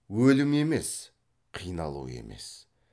өлім емес қиналу емес